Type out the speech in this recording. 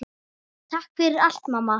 Takk fyrir allt, mamma.